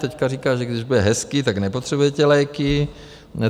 Teď říká, že když bude hezky, tak nepotřebujete léky.